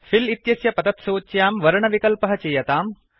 fill इत्यस्य पतत्सूच्यां वर्णविकल्पः चीयताम्